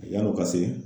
Yan'o ka se